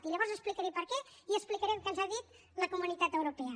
i llavors explicaré per què i explicaré el que ens ha dit la comunitat europea